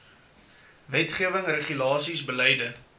wetgewing regulasies beleide